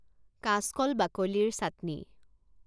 কাচকল বাকলিৰ চাটনি